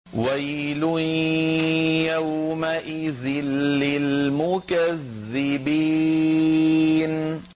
وَيْلٌ يَوْمَئِذٍ لِّلْمُكَذِّبِينَ